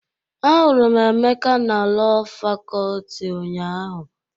Ahụrụ m Emeka na Lọọ Fakọlti ụnyaahụ.